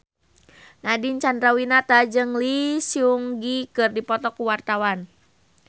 Nadine Chandrawinata jeung Lee Seung Gi keur dipoto ku wartawan